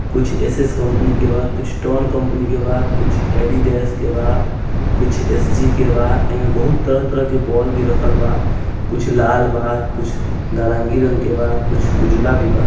कुछ SS. Company के बा कुछ टोन कंपनी के बा कुछ एडिडास के बा कुछ एस.जी. के बा एमे बहुत तरह तरह की बौल भी रखल बा | कुछ लाल बा कुछ नारंगी रंग के बा कुछ उजला भी बा।